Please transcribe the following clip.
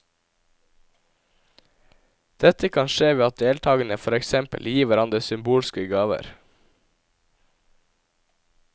Dette kan skje ved at deltakerne for eksempel gir hverandre symbolske gaver.